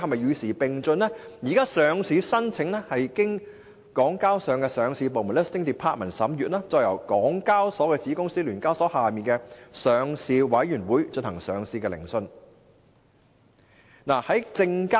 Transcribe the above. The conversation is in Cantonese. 現時，上市申請是經由港交所的上市部審閱，再由港交所的子公司聯交所之下的上市委員會進行上市聆訊。